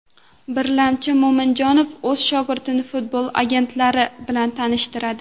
Birlamchi, Mo‘minjonov o‘z shogirdini futbol agentlari bilan tanishtiradi.